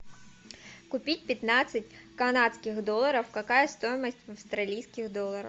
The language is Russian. купить пятнадцать канадских долларов какая стоимость в австралийских долларах